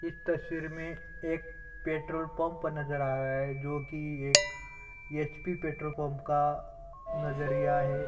इस तस्वीर में एक पेट्रोल पंप नज़र आ रहा है जो की एक एच पि पेट्रोल पंप का नज़रिया है |